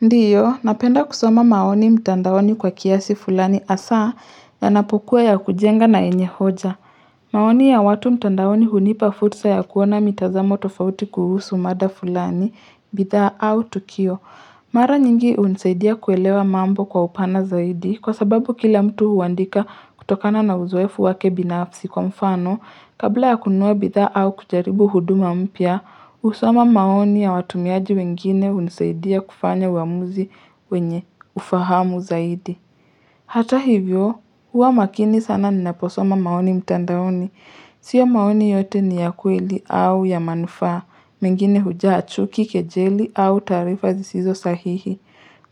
Ndiyo, napenda kusoma maoni mtandaoni kwa kiasi fulani hasaa yanapokuwa ya kujenga na yenye hoja. Maoni ya watu mtandaoni hunipa fursa ya kuona mitazamo tofauti kuhusu mada fulani, bidhaa au tukio. Mara nyingi hunisaidia kuelewa mambo kwa upana zaidi kwa sababu kila mtu huandika kutokana na uzoefu wake binafsi kwa mfano. Kabla ya kununua bidhaa au kujaribu huduma mpya, husoma maoni ya watumiaji wengine hunisaidia kufanya uamuzi wenye ufahamu zaidi. Hata hivyo, huwa makini sana ninaposoma maoni mtandaoni. Sio maoni yote ni ya kweli au ya manufaa, mengine hujaa chuki kejeli au taarifa zisizo sahihi.